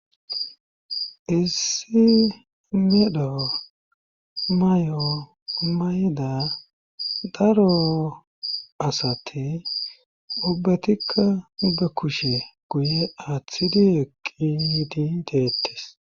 issi medho may7o mayda daro asati ubbatikka ba kushe guye aaththidi eqqi yidi deettes